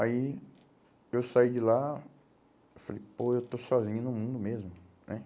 Aí eu saí de lá, eu falei, pô, eu estou sozinho no mundo mesmo né.